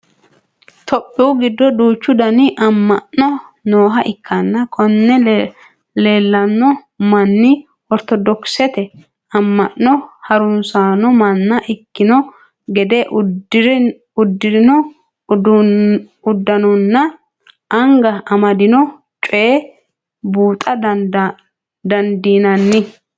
topiyu giddo duuchu dani amma'no nooha ikkana konne leelanno manni ortodokisete amma'no harunsanno manna ikkino gede uddirino uddanonninna anga amadino coyiinii buuxa dandiinanni.